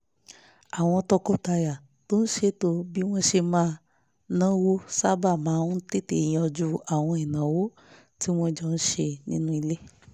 àwọn tọkọtaya tó ń ṣètò bí wọ́n ṣe máa náwó sábà máa ń tètè yanjú àwọn ìnáwó tí wọ́n jọ ń ṣe nínú ilé